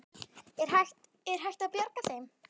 Er hægt að, er hægt að bjarga þeim?